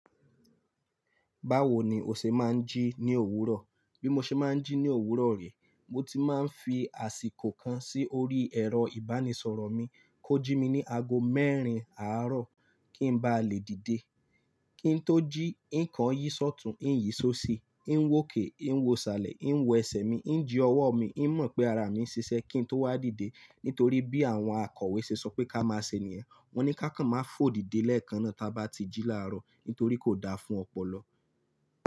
Báwo ni o ṣe má ń jí ní òwúrọ̀? Bí mo ṣe má ń jí ní òwúrọ̀ rẹ̀, mo ti má ń fi àsìkò kan sí orí ẹ̀rọ ìbánisọ̀rọ̀ mi kó jí mi ní ago mẹ́rin àárọ̀ kí ń bá lè dìde. Kí n tó jí, ìkàn yí ṣọtùú, ìyí ṣó ṣí, ì ń wòkè, ì ń wòsàlẹ̀, ì ń wo ẹsẹ̀ mi, ì ń ji ọwọ́ mi, ì ń mọ̀ pé ara mi ń ṣiṣẹ́ kí n tó wá dìde. Nítorí bí àwọn akọ̀wé ṣe sọ pé ká máa ṣe nìyẹn. Wọ́n ní ká kàn má fò dìde lẹ́ẹ̀kan náà táa bá ti jí láàárọ̀ nítorí kò da fún ọpọlọ.